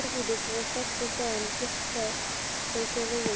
Sjúkrabíll var kvaddur á staðinn og flutti þau til Reykjavíkur.